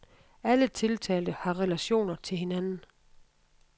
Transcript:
Alle tiltalte har relationer til hinanden.